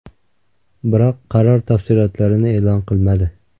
Biroq qaror tafsilotlarini e’lon qilmadi.